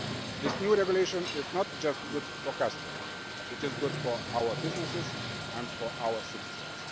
This new regulation is not just good for customs, it is good for our businesses and for our citizens.